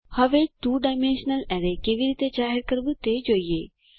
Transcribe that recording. હવે 2 ડાયમેન્શનલ અરે કેવી રીતે જાહેર કરવું તે જોઈએ